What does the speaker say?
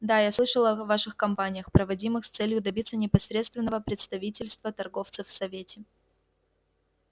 да я слышал о ваших кампаниях проводимых с целью добиться непосредственного представительства торговцев в совете